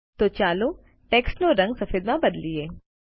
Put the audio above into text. તો ચાલો ટેક્સ્ટનો રંગ સફેદમાં બદલીએ